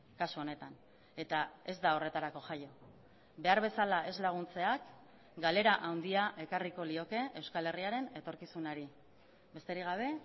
kasu honetan eta ez da horretarako jaia behar bezala ez laguntzeak galera handia ekarriko lioke euskal herriaren etorkizunari besterik gabe